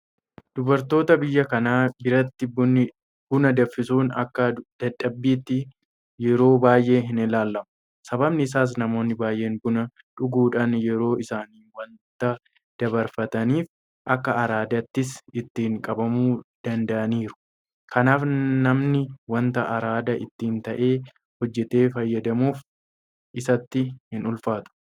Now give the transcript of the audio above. Dubartoota biyya kanaa biratti buna danfisuun akka dadhabbiitti yeroo baay'ee hinilaalamu. Sababni isaas Namoonni baay'een buna dhuguudhaan yeroo isaanii waanta dabarfataniif akka araadaattis ittiin qabamuu danda'aniiru. Kanaaf namni waanta araada itti ta'e hojjetee fayyadamuuf isatti hinulfaatu.